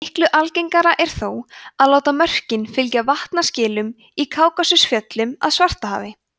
miklu algengara er þó að láta mörkin fylgja vatnaskilum í kákasusfjöllum að svartahafi